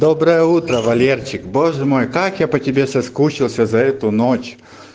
доброе утро валерчик боже мой как я по тебе соскучился за эту ночь